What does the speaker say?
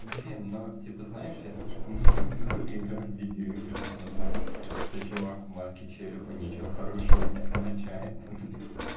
блин ну типа знаешь я слишком долго играю в видео игры чтобы знать что чувак в маске черепа ничего хорошего не означает